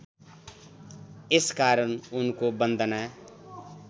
यसकारण उनको वन्दना